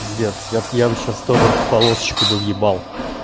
пиздец я б я бы сейчас тоже полосочку бы въебал